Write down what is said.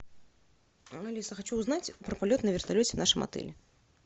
алиса хочу узнать про полет на вертолете в нашем отеле